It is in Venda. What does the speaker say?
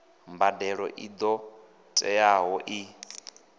mbadelo i ṱo ḓeaho i